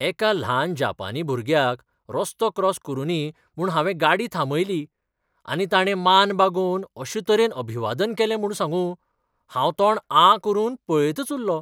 एका ल्हान जापानी भुरग्याक रस्तो क्रॉस करुनी म्हूण हांवें गाडी थांबयली, आनी ताणे मान बागोवन अशें तरेन अभिवादन केलें म्हूण सांगू, हांव तोंड आं करून पळयतच उल्लों.